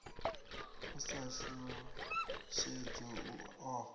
u sa shushedzwa u ofha